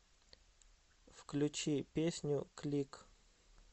включи песню клик